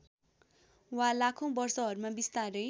वा लाखौँ वर्षहरूमा बिस्तारै